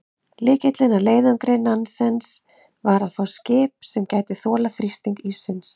Lykillinn að leiðangri Nansens var að fá skip sem gæti þolað þrýsting íssins.